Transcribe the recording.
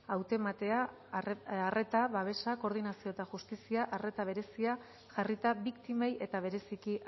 hautematea arreta babesa koordinazioa eta justizia arreta berezia jarrita biktimei eta bereziki